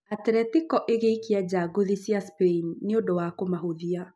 Atletico ĩgĩikia nja ngũthi icio cia spain nĩũndũ wa kũmahũthia